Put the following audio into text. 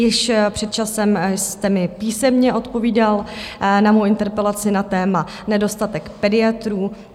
Již před časem jste mi písemně odpovídal na mou interpelaci na téma nedostatek pediatrů.